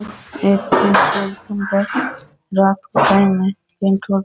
ये कोई petrol pump है रात को टाइम है।